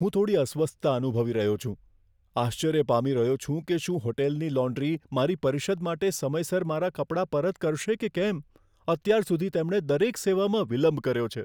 હું થોડી અસ્વસ્થતા અનુભવી રહ્યો છું, આશ્ચર્ય પામી રહ્યો છું કે શું હોટલની લોન્ડ્રી મારી પરિષદ માટે સમયસર મારા કપડાં પરત કરશે કે કેમ. અત્યાર સુધી તેમણે દરેક સેવામાં વિલંબ કર્યો છે.